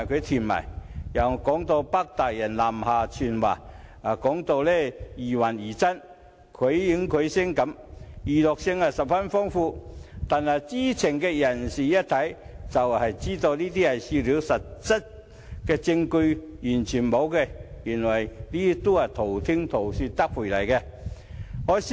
此外，更有指"北大人"南下傳話，說得疑幻疑真，繪形繪聲，娛樂性十分豐富，但知情人士一看便知純屬笑料，實質證據完全欠奉，全部是道聽塗說。